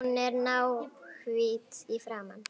Hún var náhvít í framan.